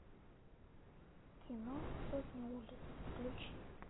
кино сотни улиц включи